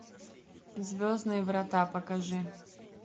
звездные врата покажи